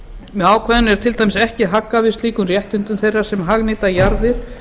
með ákvæðinu er til dæmis ekki haggað við slíkum réttindum þeirra sem hagnýta jarðir